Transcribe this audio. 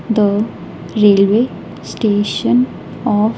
The railway station of.